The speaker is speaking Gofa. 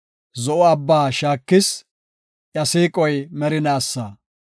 Zo7o Abbaa shaakis; iya siiqoy merinaasa.